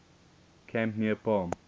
camp near palm